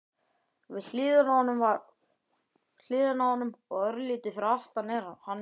Við hliðina á honum og örlítið fyrir aftan hann er